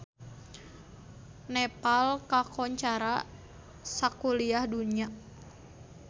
Nepal kakoncara sakuliah dunya